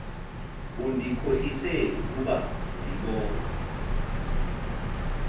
undikhohlise kuba ndibona